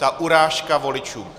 Ta urážka voličům.